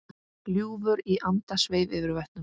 Ljúfur andi sveif yfir vötnum.